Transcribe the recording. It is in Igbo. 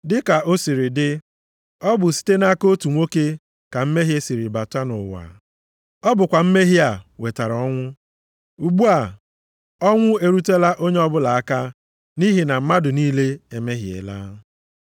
Dịka o siri dị, ọ bụ site nʼaka otu nwoke ka mmehie siri bata nʼụwa. Ọ bụkwa mmehie a wetara ọnwụ. Ugbu a, ọnwụ erutela onye ọbụla aka nʼihi na mmadụ niile emehiela.